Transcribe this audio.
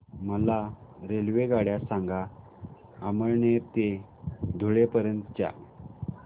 मला रेल्वेगाड्या सांगा अमळनेर ते धुळे पर्यंतच्या